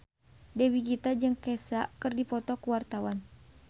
Dewi Gita jeung Kesha keur dipoto ku wartawan